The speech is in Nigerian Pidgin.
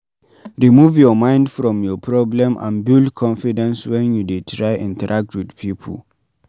Remove your mind from your problem and build confidence when you dey try interact with pipo